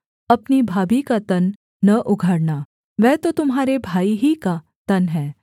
अपनी भाभी का तन न उघाड़ना वह तो तुम्हारे भाई ही का तन है